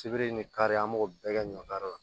Sibiri ni kari an b'o bɛɛ kɛ ɲɔ kari la